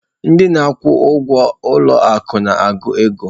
Ndị na-akwụ ụgwọ ụlọ akụ na-agụ ego.